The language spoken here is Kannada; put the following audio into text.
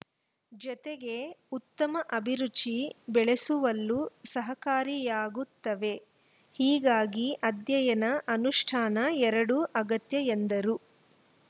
ಜೊತೆಗೆ ಉತ್ತಮ ಅಭಿರುಚಿ ಬೆಳಸುವಲ್ಲೂ ಸಹಕಾರಿಯಾಗುತ್ತವೆ ಹೀಗಾಗಿ ಅಧ್ಯಯನಅನುಷ್ಠಾನ ಎರಡೂ ಅಗತ್ಯ ಎಂದರು